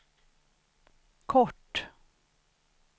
kort